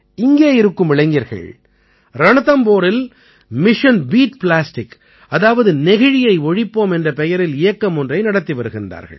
இங்கே இருக்கும் இளைஞர்கள் ரண்தம்போரில் மிஷன் பீட் ப்ளாஸ்டிக் அதாவது நெகிழியை ஒழிப்போம் என்ற பெயரில் இயக்கம் ஒன்றை நடத்தி வருகின்றார்கள்